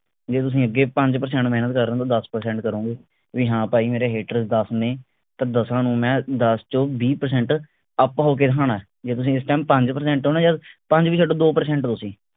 ਜੇ ਅੱਗੇ ਤੁਸੀਂ ਪੰਜ percent ਮੇਹਨਤ ਕਰ ਰਹੇ ਹੋ ਤਾਂ ਦੱਸ percent ਕਰੋਂਗੇ ਵੀ ਹਾਂ ਭਾਈ ਮੇਰੇ haters ਦੱਸ ਨੇ ਤਾਂ ਦਸਾਂ ਨੂੰ ਮੈਂ ਦੱਸ ਚੋਂ ਵੀਹ percent up ਹੋਕੇ ਦਿਖਣਾ ਹੈ। ਜੇ ਤੁਸੀਂ ਇਸ ਟੈਮ ਪੰਜ percent ਹੋ ਨਾ ਯਾਰ ਪੰਜ ਵੀ ਛੱਡੋ ਦੋ percent ਹੋ ਤੁਸੀਂ